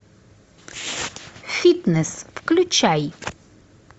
фитнес включай